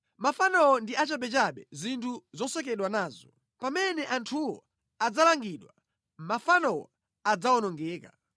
Mafanowo ndi achabechabe, zinthu zosekedwa nazo. Pamene anthuwo azidzaweruzidwa, mafanowo adzawonongedwa.